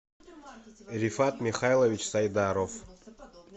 рифат михайлович сайдаров